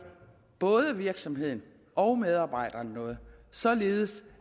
både virksomheden og medarbejderen noget således